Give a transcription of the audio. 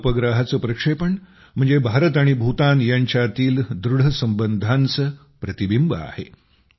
या उपग्रहाचे प्रक्षेपण म्हणजे भारत आणि भूतान यांच्यातील दृढ संबंधांचे प्रतिबिंब आहे